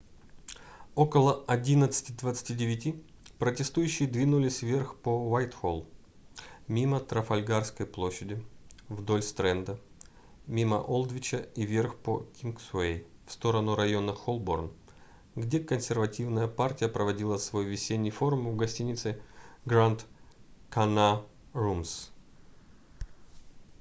около 11:29 протестующие двинулись вверх по уайтхолл мимо трафальгарской площади вдоль стрэнда мимо олдвича и вверх по кингсуэй в сторону района холборн где консервативная партия проводила свой весенний форум в гостинице grand connaught rooms